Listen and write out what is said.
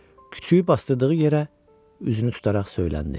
Küçüyü basdırdığı yerə üzünü tutaraq söyləndi.